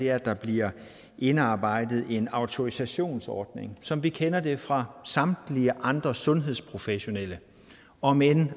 er at der bliver indarbejdet en autorisationsordning som vi kender det fra samtlige andre sundhedsprofessionelle om end